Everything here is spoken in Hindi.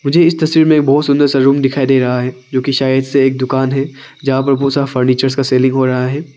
मुझे इस तस्वीर मे एक बहुत सुंदर सा रूम दिखाई दे रहा है जो कि शायद से एक दुकान है जहां पर बहुत सारा फर्नीचर्स का सेलिंग हो रहा है।